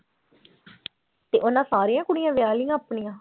ਤੇ ਉਹਨਾਂ ਸਾਰੀਆਂ ਕੁੜੀਆਂ ਵਿਆਹ ਲਈਆਂ ਆਪਣੀਆਂ।